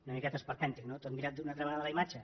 una miqueta esperpèntic no tot mirant una altra vegada la imatge